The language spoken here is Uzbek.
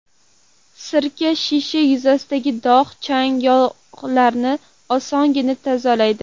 Sirka shisha yuzasidagi dog‘, chang va yog‘larni osongina tozalaydi.